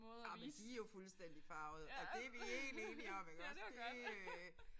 Ej men de jo fuldstændig farvede og det vi helt enige om iggås det øh